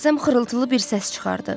Rəssam xırıltılı bir səs çıxartdı.